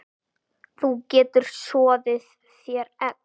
Þú getur soðið þér egg